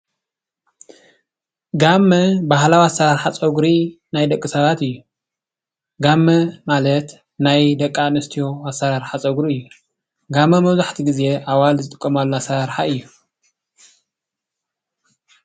ጋመ ባህላዊ ኣሰራርሓ ፀጉሪ ናይ ደቂ ሰባት እዩ። ጋማ ማለት ናይ ደቂ ኣነስትዮ ኣሰራርሓ ፀጉሪ እዩ። ጋመ መብዛሕትኡ ግዜ ኣዋልድ ዝጥቀማሉ ኣሰራርሓ እዩ።